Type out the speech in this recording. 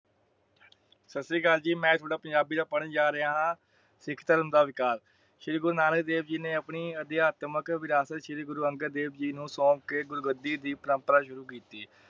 ਸਸਰੀਕਾਲ ਜੀ ਮੈਂ ਥੋੜਾ ਪੰਜਾਬੀ ਦਾ ਪੜਨ ਜਾ ਰਿਹਾ ਹਾਂ । ਸਿੱਖ ਧਰਮ ਦਾ ਵਿਕਾਸ ਸ਼੍ਰੀ ਗੁਰੁ ਨਾਨਕ ਦੇਵ ਜੀ ਨੇ ਆਪਣੀ ਅਧਿਆਤਮਕ ਵਿਰਾਸਤ ਸ਼੍ਰੀ ਗੁਰੂ ਅੰਗਦ ਦੇਵ ਜੀ ਨੂੰ ਸੌਂਪ ਕੇ ਗੁਰੂ ਗੱਦੀ ਪਰੰਪਰਾਂ ਸ਼ੁਰੂ ਕੀਤੀ ।